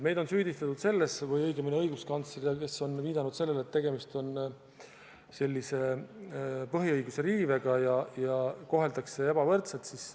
Meid on süüdistatud või õigemini õiguskantslerit, kes on viidanud sellele, et tegemist on põhiõiguse riivega ja koheldakse ebavõrdselt.